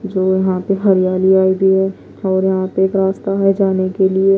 जो यहां पे हरियाली और यहां पे एक रास्ता है जाने के लिए--